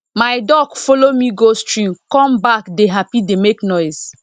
my duck follow me go stream come back dey happy dey make noise